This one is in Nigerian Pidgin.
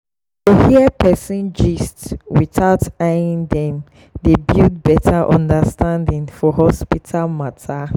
to hear person gist without eyeing dem dey build better understanding for hospital matter.